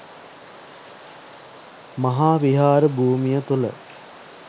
මහා විහාර භූමිය තුළ